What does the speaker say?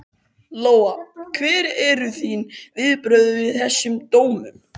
Lóa: Hver eru þín viðbrögð við þessum dómum?